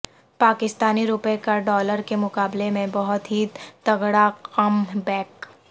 پاکستانی روپے کا ڈالر کے مقابلے میں بہت ہی تگڑا کم بیک